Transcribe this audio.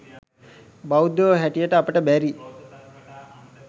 බෞද්ධයෝ හැටියට අපට බැරි